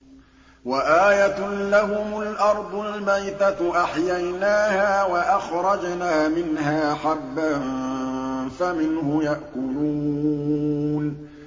وَآيَةٌ لَّهُمُ الْأَرْضُ الْمَيْتَةُ أَحْيَيْنَاهَا وَأَخْرَجْنَا مِنْهَا حَبًّا فَمِنْهُ يَأْكُلُونَ